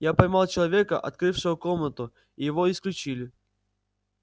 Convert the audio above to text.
я поймал человека открывшего комнату и его исключили